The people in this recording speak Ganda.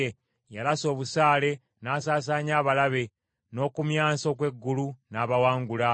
Yalasa obusaale n’asaasaanya abalabe n’okumyansa okw’eggulu, n’abawangula.